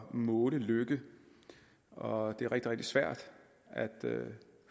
måle lykke og det er rigtig rigtig svært at